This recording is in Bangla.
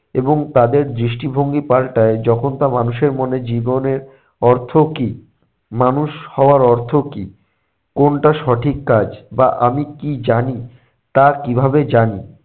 এবং তাদের দৃষ্টিভঙ্গি পাল্টায় যখন তা মানুষের মনে জীবনের অর্থ কী, মানুষ হওয়ার অর্থ কী, কোনটা সঠিক কাজ বা আমি কী জানি, তা কীভাবে জানি